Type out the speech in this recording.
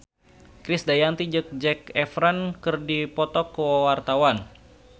Krisdayanti jeung Zac Efron keur dipoto ku wartawan